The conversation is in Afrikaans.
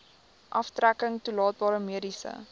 aftrekking toelaatbare mediese